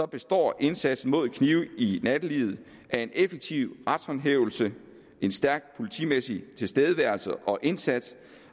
består indsatsen mod knive i nattelivet af en effektiv retshåndhævelse en stærk politimæssig tilstedeværelse og indsats